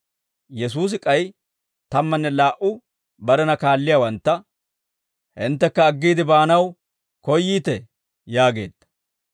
Yesuusi k'ay tammanne laa"u barena kaalliyaawantta «Hinttekka aggiide baanaw koyyiitee?» yaageedda.